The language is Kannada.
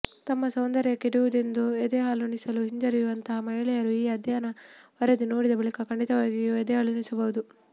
ತಮ್ಮ ಸೌಂದರ್ಯ ಕೆಡುವುದೆಂದು ಎದೆಹಾಲುಣಿಸಲು ಹಿಂಜರಿಯುವಂತಹ ಮಹಿಳೆಯರು ಈ ಅಧ್ಯಯನ ವರದಿ ನೋಡಿದ ಬಳಿಕ ಖಂಡಿತವಾಗಿಯೂ ಎದೆಹಾಲುಣಿಸಬಹುದು